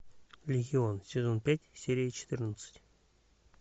легион сезон пять серия четырнадцать